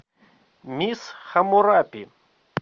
мисс хаммурапи